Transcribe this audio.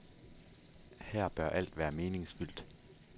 Her bør alt være meningsfyldt.